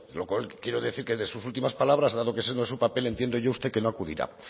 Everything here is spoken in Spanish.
lo cual quiero decir que de sus últimas palabras dado que ese no es su papel entiendo yo usted que no acudirá